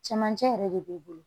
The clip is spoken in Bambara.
Cɛmancɛ yɛrɛ de b'i bolo